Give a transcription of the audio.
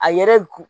A yɛrɛ kun